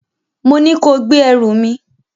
Mo ní kó gbé ẹrù mi!